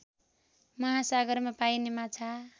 महासागरमा पाइने माछा